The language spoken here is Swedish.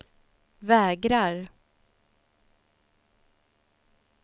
vägrar